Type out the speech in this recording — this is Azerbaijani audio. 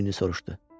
Cinni soruşdu.